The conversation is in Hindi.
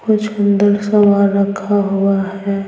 कुछ अंदर सामान रखा हुआ है।